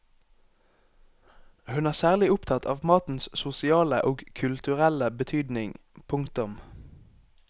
Hun er særlig opptatt av matens sosiale og kulturelle betydning. punktum